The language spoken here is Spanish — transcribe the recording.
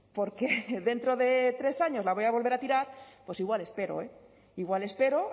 porque dentro de tres años la voy a volver a tirar pues igual espero igual espero